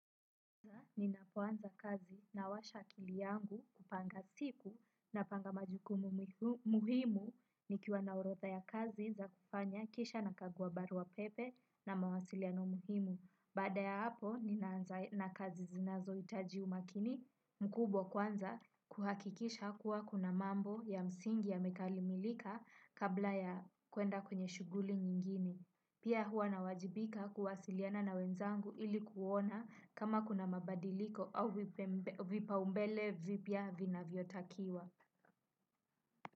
Ninapoanza kazi nawasha akili yangu kupanga siku napanga majukumu muhimu nikiwa na orodha ya kazi za kufanya kisha nakagua barua pepe na mawasiliano muhimu. Baada ya hapo, ninaanza na kazi zinazohitaji umakini mkubwa kwanza kuhakikisha kuwa kuna mambo ya msingi yamekalimilika kabla ya kuenda kwenye shuguli nyingine. Pia hua nawajibika kuwasiliana na wenzangu ili kuona kama kuna mabadiliko au vipaumbele vipya vinavyotakiwa.